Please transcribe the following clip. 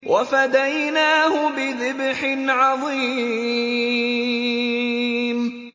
وَفَدَيْنَاهُ بِذِبْحٍ عَظِيمٍ